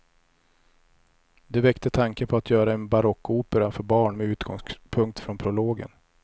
Det väckte tanken på att göra en barockopera för barn med utgångspunkt från prologen.